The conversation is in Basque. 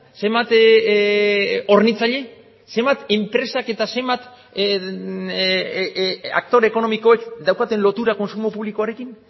zenbat hornitzaile zenbat enpresak eta zenbat aktore ekonomikoek daukaten lotura kontsumo publikoarekin